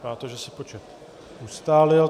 Vypadá to, že se počet ustálil.